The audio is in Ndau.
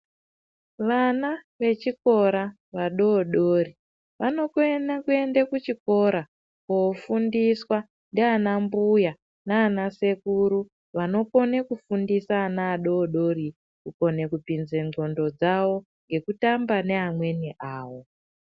Vana vechikora vadodori vanokona kuenda kuchikora kofundiswa ndiana mbuya nana sekuru vanokone kufundisa ana adodori kukone kupinze ndxondo dzawo ngekutamba neamweni awo.